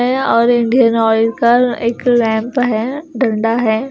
और Indian Oil का एक लैंप हैं डंडा हैं।